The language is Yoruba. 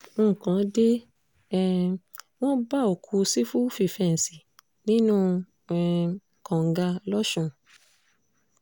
nǹkan dé um wọ́n bá òkú sífù fífẹ́ǹsì nínú um kànga lọ́sùn